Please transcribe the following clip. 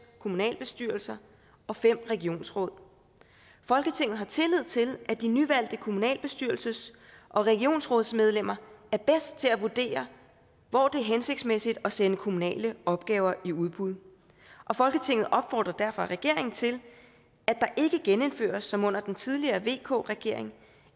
kommunalbestyrelser og fem regionsråd folketinget har tillid til at de nyvalgte kommunalbestyrelses og regionsrådsmedlemmer er bedst til at vurdere hvor det er hensigtsmæssigt at sende kommunale opgaver i udbud folketinget opfordrer derfor regeringen til at der ikke genindføres som under den tidligere vk regering